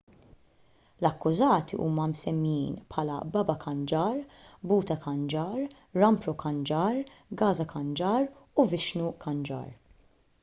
l-akkużati huma msemmijin bħala baba kanjar bhutha kanjar rampro kanjar gaza kanjar u vishnu kanjar